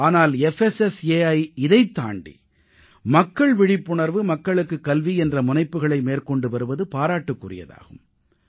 ஆனால் புஸ்ஸை இதைத் தாண்டி மக்கள் விழிப்புணர்வு மக்களுக்குக் கல்வி என்ற முனைப்புகளை மேற்கொண்டு வருவது பாராட்டுக்குரியதாகும்